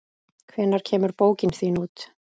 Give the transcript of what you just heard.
Hvenær kemur bókin þín út?